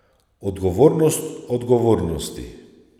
Odgovornost odgovornosti.